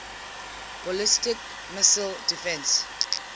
ballistic missile defense